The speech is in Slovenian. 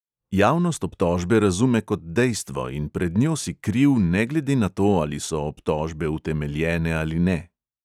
Javnost obtožbe razume kot dejstvo in pred njo si kriv ne glede na to, ali so obtožbe utemeljene ali ne.